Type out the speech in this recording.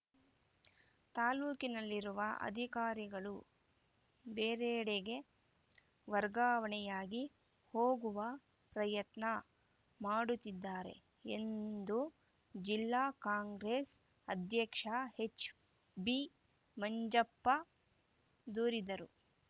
ತಾಲೂಕಿನಲ್ಲಿರುವ ಅಧಿಕಾರಿಗಳು ಬೇರೆಡೆಗೆ ವರ್ಗಾವಣೆಯಾಗಿ ಹೋಗುವ ಪ್ರಯತ್ನ ಮಾಡುತ್ತಿದ್ದಾರೆ ಎಂದು ಜಿಲ್ಲಾ ಕಾಂಗ್ರೆಸ್‌ ಅಧ್ಯಕ್ಷ ಎಚ್‌ಬಿಮಂಜಪ್ಪ ದೂರಿದರು